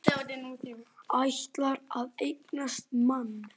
Ætlar að eignast mann.